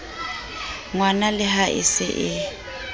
ngwanale ha e se e